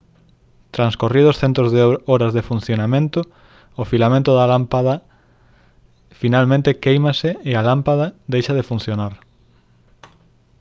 transcorridos centos de horas de funcionamento o filamento da lámpada finalmente quéimase e a lámpada deixa de funcionar